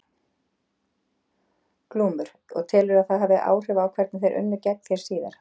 Glúmur: Og telurðu að það hafi haft áhrif á hvernig þeir unnu gegn þér síðar?